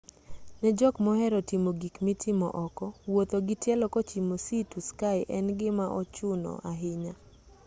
ne jok mohero timo gik mitimo oko wuotho gi tielo kochimo sea to sky en gima ochuno ahinya